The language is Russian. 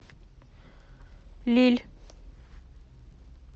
лилль